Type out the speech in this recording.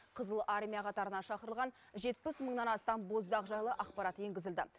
қызыл армия қатарына шақырылған жетпіс мыңнан астам боздақ жайлы ақпарат енгізілді